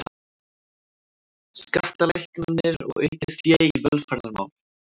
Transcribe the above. Skattalækkanir og aukið fé í velferðarmál